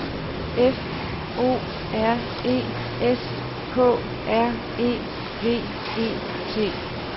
F O R E S K R E V E T